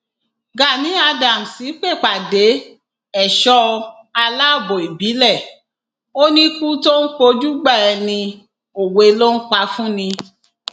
gani adams pèpàdé ẹṣọ aláàbọ ìbílẹ ò níkù tó ń pọjùgbà ẹni òwe ló ń pa fún ni